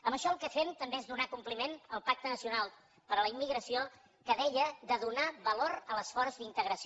amb això el que fem també és donar compliment al pacte nacional per a la immigració que deia de donar valor a l’esforç d’integració